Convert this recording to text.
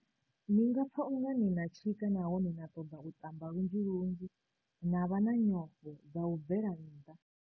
"Ni nga pfa uri ni na tshika nahone na ṱoḓa u ṱamba lunzhi lunzhi na vha na nyofho dza u bvela nnḓa.